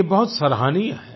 ये बहुत सराहनीय है